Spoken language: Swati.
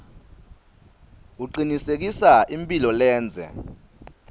kucinisekisa imphilo lendze